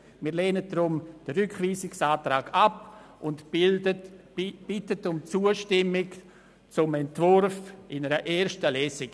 Wir lehnen den Rückweisungsantrag ab und bitten um Zustimmung zum Entwurf in der ersten Lesung.